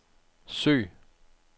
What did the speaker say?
søg